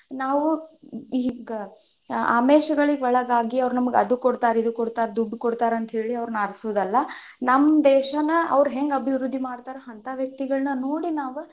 ನಾವು ಈಗ ಆಮಿಷಗಳಿಗೆ ಒಳಗಾಗಿ ಅವ್ರು ನಮ್ಗ ಅದು ಕೊಡ್ತಾರ ಇದು ಕೊಡ್ತಾರ ದುಡ್ಡು ಕೊಡ್ತಾರ ಅಂತ ಹೇಳಿ ಅವ್ರ್ನ ಆರಿಸುದಲ್ಲ, ನಮ್ ದೇಶನ ಅವ್ರ್ ಹೆಂಗ್ ಅಭಿವೃದ್ಧಿ ಮಾಡ್ತಾರ ಅಂತ ವ್ಯಕ್ತಿಗಳನ್ನ ನೋಡಿ ನಾವ್.